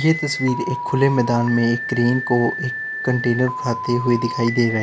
ये तस्वीर खुले मैदान में एक क्रेन को एक कंटेनर उठाते हुए दिखाई दे रहा है।